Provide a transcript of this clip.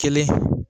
Kelen